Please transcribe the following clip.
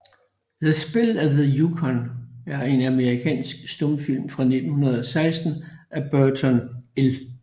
The Spell of the Yukon er en amerikansk stumfilm fra 1916 af Burton L